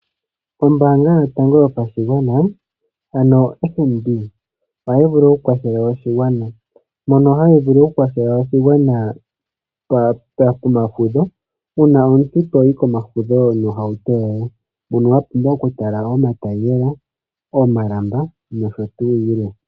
Ombaanga yotango yopashigwana ano FNB ohayi vulu oku kwathela oshigwana. Mono hayi vulu oku kwathela oshigwana pomafudho . Uuna omuntu toyi komafudho nohauto yoye mono wa pumbwa oku tala omatayiyela, omalamba nosho tuu yilwe.